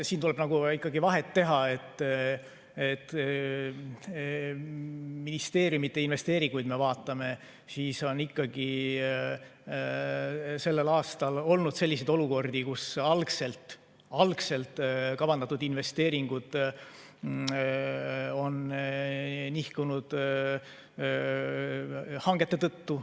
Siin tuleb vahet teha, et kui me ministeeriumide investeeringuid vaatame, siis on tänavu olnud selliseid olukordi, kus algselt kavandatud investeeringud on nihkunud hangete tõttu.